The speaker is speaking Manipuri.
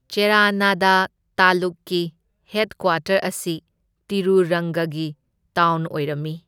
ꯆꯦꯔꯥꯅꯥꯗ ꯇꯥꯂꯨꯛꯀꯤ ꯍꯦꯗꯀ꯭ꯋꯥꯇꯔ ꯑꯁꯤ ꯇꯤꯔꯨꯔꯪꯒꯒꯤ ꯇꯥꯎꯟ ꯑꯣꯏꯔꯝꯃꯤ꯫